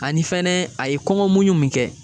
Ani fɛnɛ a ye kɔngɔ muɲu mun kɛ